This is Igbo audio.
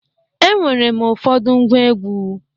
Enwere m ụfọdụ ngwa egwu.